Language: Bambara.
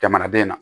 Jamanaden na